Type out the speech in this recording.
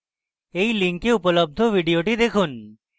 এই link উপলব্ধ video দেখুন